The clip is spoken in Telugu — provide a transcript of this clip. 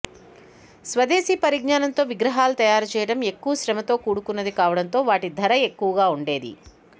స్వదేశీ పరిజ్ఞానంతో విగ్రహాలు తయారు చేయడం ఎక్కువ శ్రమతో కూడుకున్నది కావడంతో వాటి ధర ఎక్కువగా ఉండేది